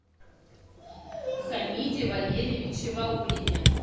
хамиде валерьевиче ваулине